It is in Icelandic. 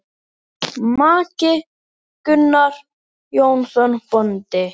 Maki: Gunnar Jónsson bóndi.